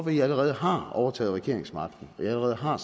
at i allerede har overtaget regeringsmagten at i allerede har